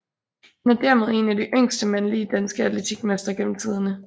Han er dermed en af de yngste mandlige danske atletikmestre gennem tiderne